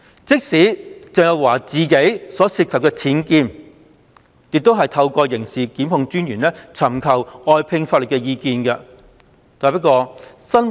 即使鄭若驊自己所涉及的僭建事件，亦透過刑事檢控專員尋求外聘法律意見。